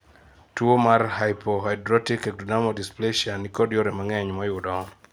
tuo mar hypohidrotic ectodermal dysplacia nikod yore mang'eny moyudo